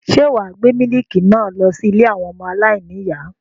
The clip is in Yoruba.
Ṣé wà á gbé mílíkì náà lọ sí ilé àwọn ọmọ aláìníìyá?